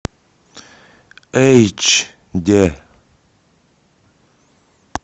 эйч д